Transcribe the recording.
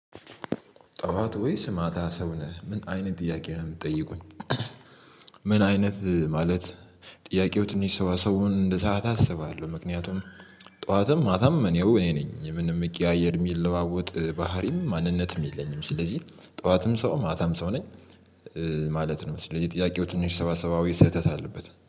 ጠዋት ወይ ስማታ ሰው ነህ ምን አይነት ጥያቄ ነው የምትጠይቁን? ምን አይነት ማለት ጥያቄው ትንሽ ሰው ሰው እንደ ሰዓት አስባለሁ ምክንያቱም ጠዋትም ማታም እኔው እኔ ነኝ ምንም እሚቀያየር የሚለዋወጥ ባህሪም ማንነትም የለኝም። ስለዚህ ጠዋትም ሰውም ማታም ሰው ነኝ። ማለት ነው የመሰለኝ የጥያቄው ትንሽ ሰዋሰዋዊ ስህተት አለበት